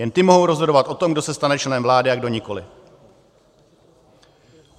Jen ty mohou rozhodovat o tom, kdo se stane členem vlády a kdo nikoli.